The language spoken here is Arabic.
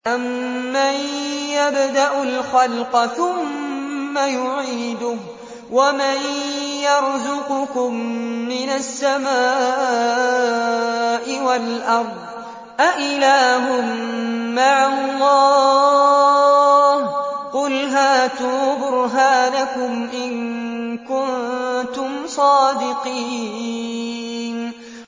أَمَّن يَبْدَأُ الْخَلْقَ ثُمَّ يُعِيدُهُ وَمَن يَرْزُقُكُم مِّنَ السَّمَاءِ وَالْأَرْضِ ۗ أَإِلَٰهٌ مَّعَ اللَّهِ ۚ قُلْ هَاتُوا بُرْهَانَكُمْ إِن كُنتُمْ صَادِقِينَ